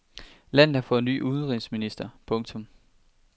Landet har fået ny udenrigsminister. punktum